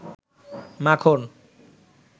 মাখন